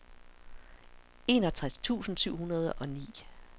enogtres tusind syv hundrede og ni